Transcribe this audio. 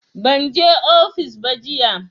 Ban je ofis ba jiya